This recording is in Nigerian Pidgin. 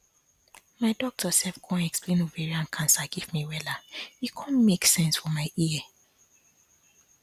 my doctor sef con explain ovarian cancer give me wella e con make sense for my ear